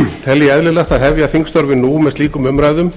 ég eðlilegt að hefja þingstörfin nú með slíkum umræðum